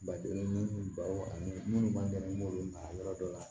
Badennin minnu ba ani minnu b'an dɛmɛ n'olu mara yɔrɔ dɔ la